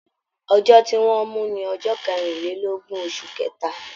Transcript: Ọjọ tí wọn mú ní ọjọ kerinlelogun, oṣù kẹta.